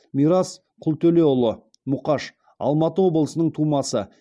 мирас құлтөлеуұлы мұқаш алматы облысының тумасы